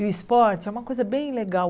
E o esporte é uma coisa bem legal.